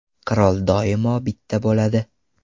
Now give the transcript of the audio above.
Qirol doimo bitta bo‘ladi .